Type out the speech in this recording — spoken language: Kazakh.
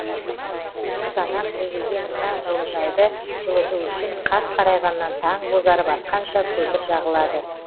қызанақ егілген мына жылыжайды жылыту үшін қас қарайғаннан таң бозарып атқанша көмір жағылады